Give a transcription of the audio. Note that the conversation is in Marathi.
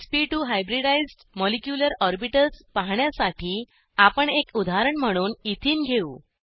एसपी2 हायब्रिडाइज्ड मॉलिक्यूलर ऑर्बिटल्स पाहण्यासाठी आपण एक उदाहरण म्हणून एथेने घेऊ